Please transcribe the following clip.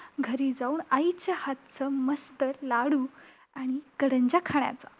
घरी जाऊन आईच्या हातचं मस्त लाडू आणि करंज्या खाण्याचा.